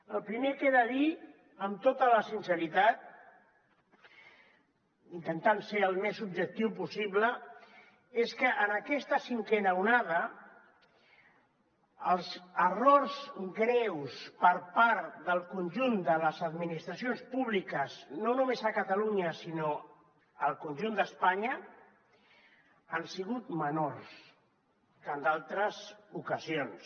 el primer que he de dir amb tota la sinceritat intentant ser al més objectiu possible és que en aquesta cinquena onada els errors greus per part del conjunt de les administracions públiques no només a catalunya sinó al conjunt d’espanya han sigut menors que en d’altres ocasions